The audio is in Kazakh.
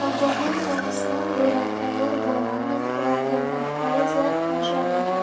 вагонның тұрмысынан гөрі тәуір болғанмен лагерьдің халі де нашар екен